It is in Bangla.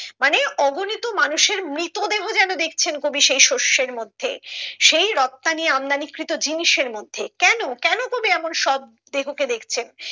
মানে অগণিত মানুষের মৃত দেহ যেন দেখছেন কবি সেই শস্যের মধ্যে সেই রপ্তানি আমদানি কৃত জিনিসের মধ্যে কেন কেন কবি এমন সব দেহ কে দেখছেন